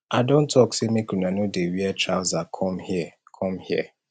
i don talk say make una no dey wear trouser come here come here